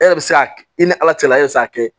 E yɛrɛ bɛ se k'a kɛ i ni ala cɛla e bɛ se k'a kɛ